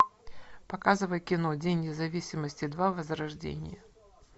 показывай кино день независимости два возрождение